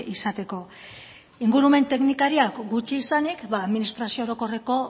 izateko ingurumen teknikariak gutxi izanik administrazio orokorreko